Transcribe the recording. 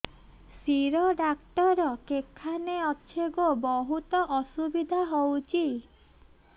ଶିର ଡାକ୍ତର କେଖାନେ ଅଛେ ଗୋ ବହୁତ୍ ଅସୁବିଧା ହଉଚି